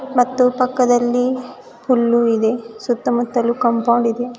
ಮತ್ತು ಪಕ್ಕದಲ್ಲಿ ಹುಲ್ಲು ಇದೆ ಸುತ್ತ ಮುತ್ತಲು ಕಾಂಪೌಂಡ್ ಇದೆ.